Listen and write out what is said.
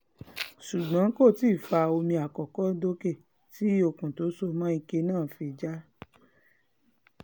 ṣùgbọ́n kò tí ì fa omi àkọ́kọ́ dókè tí okùn tó so mọ́ ike náà fi já